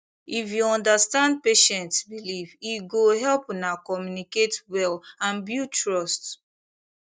if you understand patient belief e go help una communicate well and build trust